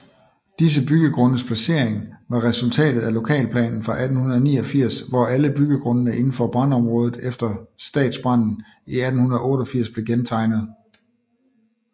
Disse byggegrundes placering var resultatet af lokalplanen fra 1889 hvor alle byggegrundene indenfor brandområdet efter stadsbranden i 1888 blev gentegnet